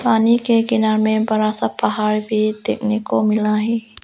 पानी के किनार में बड़ा सा पहाड़ भी देखने को मिला है।